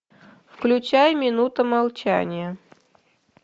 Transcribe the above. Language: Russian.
включай минута молчания